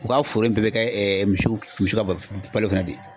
U ka foro bɛɛ bɛ kɛ misiw misi ka ba balo fana de.